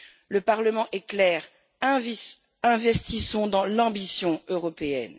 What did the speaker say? Le Parlement est clair investissons dans l'ambition européenne.